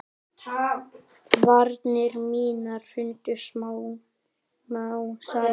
Varnir mínar hrundu smám saman.